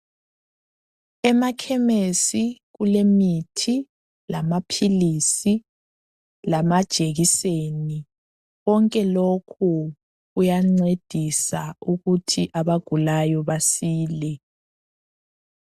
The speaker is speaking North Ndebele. Emakhemesi kulemithi ,lamaphilisi lamajekiseni. Konke lokhu kuyancedisa ukuthi abagulayo basile.